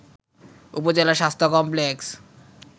উপজেলা স্বাস্থ্য কমপ্লেক্স